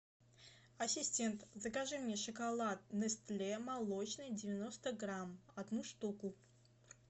ассистент закажи мне шоколад нестле молочный девяносто грамм одну штуку